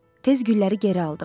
Tez gülləri geri aldım.